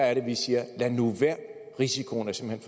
er det vi siger lad nu være risikoen er simpelt